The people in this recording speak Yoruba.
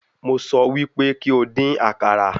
Mo sọ wí pé kí o dín àkàrà.